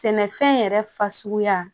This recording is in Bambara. Sɛnɛfɛn yɛrɛ fasuguya